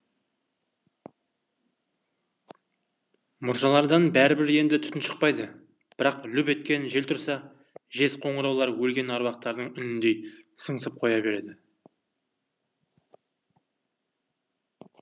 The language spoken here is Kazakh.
мұржалардан бәрібір енді түтін шықпайды бірақ лүп еткен жел тұрса жез қоңыраулар өлген аруақтардың үніндей сыңсып қоя береді